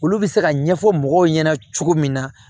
Olu bɛ se ka ɲɛfɔ mɔgɔw ɲɛna cogo min na